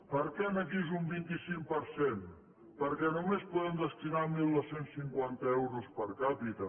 per què aquí és un vint cinc per cent perquè només podem destinar dotze cinquanta euros per capita